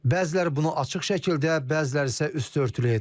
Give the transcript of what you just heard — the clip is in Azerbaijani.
Bəziləri bunu açıq şəkildə, bəziləri isə üstü örtülü edir.